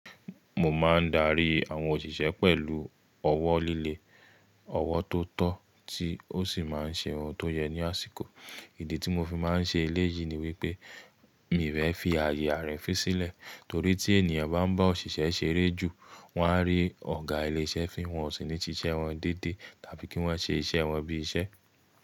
Mo máa ń darí àwọn òṣìṣẹ́ pẹ̀lú ọwọ́ líle, ọwọ́ tó tọ́ tí ó sì máa ń ṣe ohun tó yẹ ní àsìkò. Ìdí tí mo fi máa ń ṣe eléyìí ni wípé, mi ò fẹ́ fi àyè ààri fìn sílẹ̀, torí tí ènìyàn bá ń bá òṣìṣẹ́ ṣeré jù, wọ́n á rí ọ̀gá ilé-iṣẹ́ fin wọn ó sì ní ṣiṣẹ́ wọn dédé tàbí kí wọ́n ṣe iṣẹ́ wọn bí iṣẹ́.